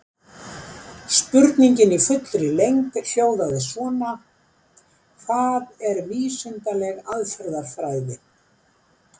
Spurningin í fullri lengd hljóðaði svona: Hvað er vísindaleg aðferðafræði?